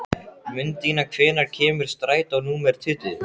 Mundína, hvenær kemur strætó númer tuttugu?